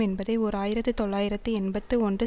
என்பதை ஓர் ஆயிரத்தி தொள்ளாயிரத்தி எண்பத்து ஒன்று